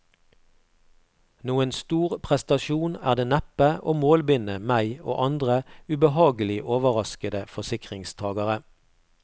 Noen stor prestasjon er det neppe å målbinde meg og andre ubehagelig overraskede forsikringstagere.